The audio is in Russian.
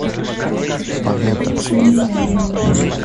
поищи фильм загнанный